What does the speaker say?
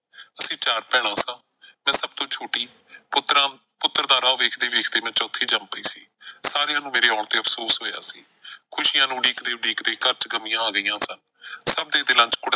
ਅਸੀਂ ਚਾਰ ਭੈਣਾਂ ਸਾਂ। ਮੈਂ ਸਭ ਤੋਂ ਛੋਟੀ, ਪੁੱਤਰਾਂ ਪੁੱਤਰ ਦਾ ਰਾਹ ਵੇਖ ਦੇ ਵੇਖ ਦੇ ਮੈਂ ਚੌਥੀ ਜੰਮ ਪਈ ਸੀ। ਸਾਰਿਆਂ ਨੂੰ ਮੇਰੇ ਆਉਣ ਤੇ ਅਫ਼ਸੋਸ ਹੋਇਆ ਸੀ। ਖੁਸ਼ੀਆਂ ਨੂੰ ਉਡੀਕਦੇ ਉਡੀਕਦੇ ਘਰ ਚ ਗ਼ਮੀਆਂ ਆ ਗਈਆਂ ਸਨ, ਸਭ ਦੇ ਦਿਲਾਂ ਚ .